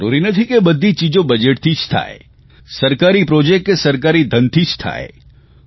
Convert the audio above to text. અને જરૂરી નથી કે બધી ચીજો બજેટથી જ થાય સરકારી પ્રોજેક્ટ કે સરકારી ધનથી જ થાય